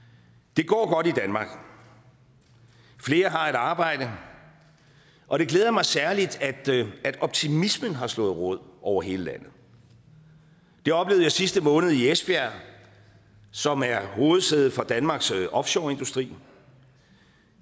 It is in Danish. det går godt i danmark flere har et arbejde og det glæder mig særligt at optimismen har slået rod over hele landet det oplevede jeg sidste måned i esbjerg som er hovedsæde for danmarks offshoreindustri